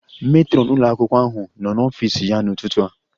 Matron ụlọ akwụkwọ ahụ nọ n'ọfịs ya n'ụtụtụ a